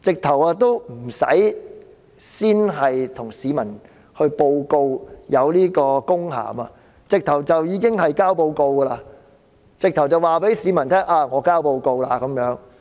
她甚至無須先向市民知會有此公函，便已經提交報告，直接告訴市民她提交報告。